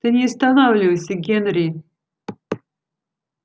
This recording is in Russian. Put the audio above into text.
ты не останавливайся генри